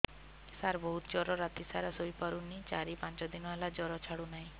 ସାର ବହୁତ ଜର ରାତି ସାରା ଶୋଇପାରୁନି ଚାରି ପାଞ୍ଚ ଦିନ ହେଲା ଜର ଛାଡ଼ୁ ନାହିଁ